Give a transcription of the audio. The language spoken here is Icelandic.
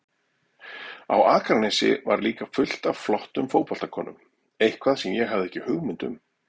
Á Akranesi var líka fullt af flottum fótboltakonum, eitthvað sem ég hafði ekki hugmynd um.